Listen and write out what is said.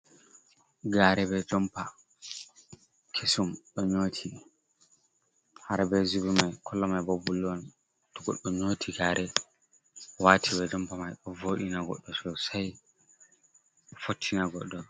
Gare be jompa kesum ɗo nyoti har be zubi mai kolo mai bo bulu on to goɗɗo nyoti gare wati be jompa mai ɗo voɗina goɗɗo sosai fottina goɗɗo.